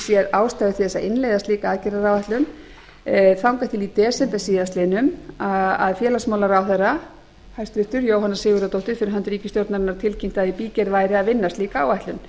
ástæðu til að innleiða slíka aðgerðaáætlun þangað til í desember síðastliðnum að félagsmálaráðherra hæstvirtur jóhanna sigurðardóttir fyrir hönd ríkisstjórnarinnar tilkynnti að í bígerð væri að vinna slíka áætlun